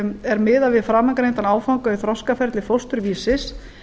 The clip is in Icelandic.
er miðað við framangreindan áfanga í þroskaferli fósturvísis